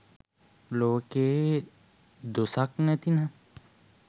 ලෝකයේ දොසක් නැතිනම්